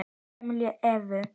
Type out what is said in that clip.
Hik kemur á Evu.